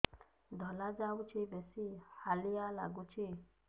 ଧଳା ଯାଉଛି ବେଶି ହାଲିଆ ଲାଗୁଚି